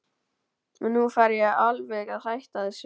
En nú fer ég alveg að hætta þessu.